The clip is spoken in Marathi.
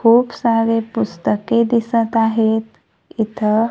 खूप सारे पुस्तके दिसत आहेत इथं.